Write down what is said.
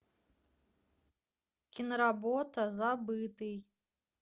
киноработа забытый